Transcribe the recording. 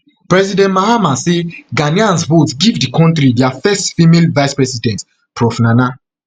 president mahama say ghanaians vote give di kontri dia first female vicepresident prof nana